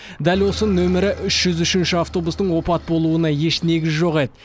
дәл осы нөмірі үш жүз үшінші автобустың опат болуына еш негіз жоқ еді